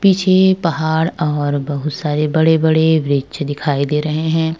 पीछे पहाड़ और बहुत सारे बड़े-बड़े वृक्ष दिखाई दे रहे हैं।